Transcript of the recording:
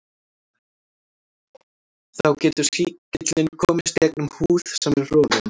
Þá getur sýkillinn komist gegnum húð sem er rofin.